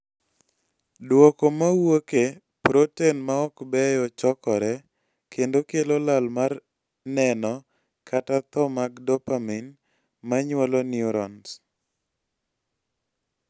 duoko mawuoke, proten maok beyo chokore, kendo kelo lal mar neno kata tho mag dopamine manyuolo neurons